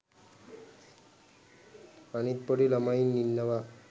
අනිත් පොඩි ළමයි ඉන්නවා